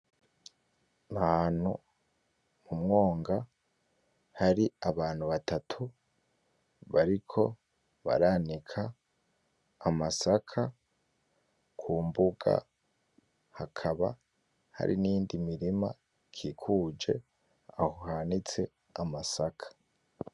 Ahantu mumwonga hari abantu batatu, bariko baranika amasaka kumbuga hakaba hari niyindi mirima ikikuje aho hanitse amasaka.